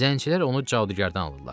Zəncilər onu cadugərdən alırlar.